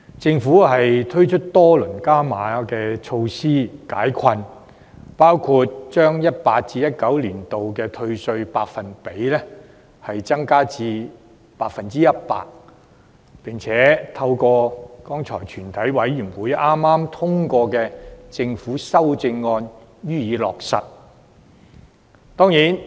政府推出多輪加碼措施解困，包括把 2018-2019 年度的稅務寬減百分比提高至 100%， 並透過全體委員會剛才通過的政府修正案予以落實。